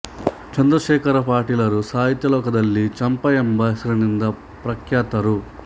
ಚಂದ್ರಶೇಖರ ಪಾಟೀಲರು ಸಾಹಿತ್ಯ ಲೋಕದಲ್ಲಿ ಚಂಪಾ ಎಂಬ ಹೆಸರಿನಿಂದ ಪ್ರಖ್ಯಾತರು